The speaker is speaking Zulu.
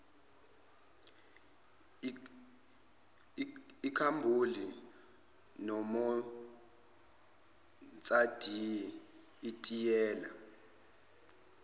ikhabhoni monoksayidi itiyela